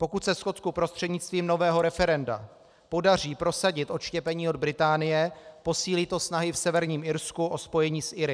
Pokud se Skotsku prostřednictvím nového referenda podaří prosadit odštěpení od Británie, posílí to snahy v Severním Irsku o spojení s Iry.